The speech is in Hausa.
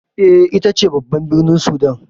E, ita ce babban birnin Sudan.